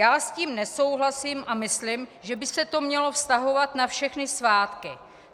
Já s tím nesouhlasím a myslím, že by se to mělo vztahovat na všechny svátky.